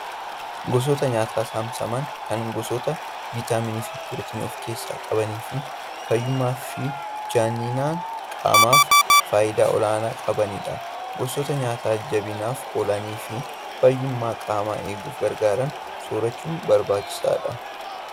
Gosoota nyaataa saamsaman kan gosoota viitaaminii fi pirootinii of keessaa qabanii fi fayyummaa fi janina qaamaaf faayidaa olaanaa qabanidha. Gosoota nyaataa jabinaaf oolanii fi fayyummaa qaamaa eeguuf gargaaran soorachuun barbaachisaadha.